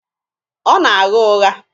Ọ na-agha ụgha.